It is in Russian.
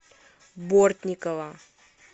бортникова